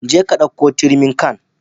Je ka ɗauko turmin can